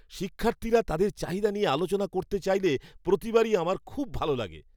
শিক্ষার্থীরা তাদের চাহিদা নিয়ে আলোচনা করতে চাইলে প্রতিবারই আমার খুব ভালো লাগে।